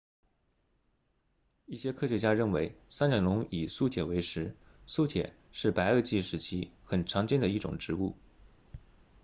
一些科学家认为三角龙以苏铁为食苏铁是白垩纪时期很常见的一种植物